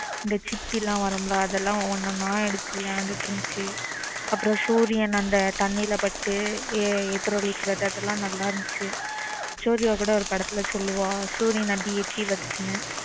இந்த சிப்பி லாம் வரும் லா அதெல்ல ஒன்னொன்னா எடுத்து விளையாடிட்டு இருந்துச்சு அப்புறம் சூரியன் அந்த தண்ணீர் ல பட்டு எதிரொலிக்கிறது எல்லாம் நல்லா இருந்துச்சு சூரியா கூட ஒரு படத்துல சொல்லுவான் சூரியன் அப்பிடியே எட்டி பாக்குதுன்னு